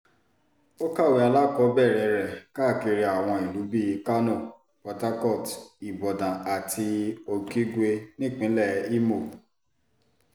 ó kàwé alákọ̀ọ́bẹ̀rẹ̀ rẹ̀ káàkiri àwọn ìlú bíi kánó portharcourt ibodàn àti okigwe nípínlẹ̀ ìmọ̀